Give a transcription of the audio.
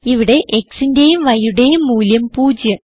ഇവിടെ xന്റെയും yയുടെയും മൂല്യം 0